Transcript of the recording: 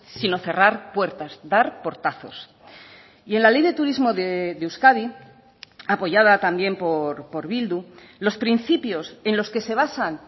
sino cerrar puertas dar portazos y en la ley de turismo de euskadi apoyada también por bildu los principios en los que se basan